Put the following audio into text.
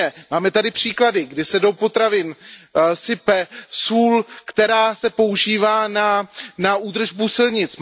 Máme tady příklady, kdy se do potravin sype sůl, která se používá na údržbu silnic.